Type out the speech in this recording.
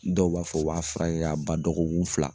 Dɔw b'a fɔ waa fila in a ba dɔgɔkun fila.